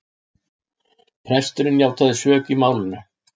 Presturinn játaði sök í málinu